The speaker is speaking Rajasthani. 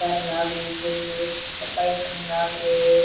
सफाई करन लाग रो।